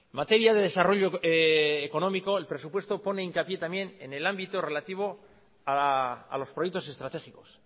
materia de desarrollo económico el presupuesto pone hincapié también en el ámbito relativo a los proyectos estratégicos